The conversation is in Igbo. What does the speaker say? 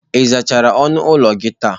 Ị zachara ọnụ ụlọ gị taa?